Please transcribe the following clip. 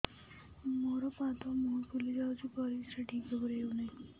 ମୋର ପାଦ ମୁହଁ ଫୁଲି ଯାଉଛି ପରିସ୍ରା ଠିକ୍ ଭାବରେ ହେଉନାହିଁ